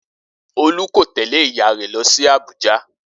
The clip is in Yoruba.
Olú kò tẹ̀lẹ́ ìyá rẹ lọ sí Abuja